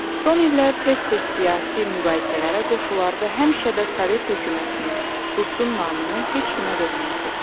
Son illər tez-tez siyasi mübahisələrə qoşular və həmişə də sovet hökumətinin, Rusun namını heç kimə verməzdi.